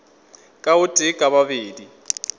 ka o tee ka babedi